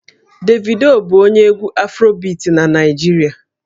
Davido bụ onye egwú Afrobiti na Naịjirịa